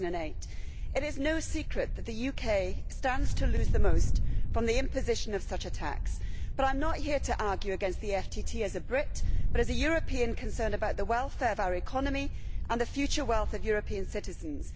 2008. It is no secret that the UK stands to lose the most from the imposition of such a tax, but I am not here to argue against the FTT as a Brit, but as a European concerned about the welfare of our economy, and the future wealth of European citizens.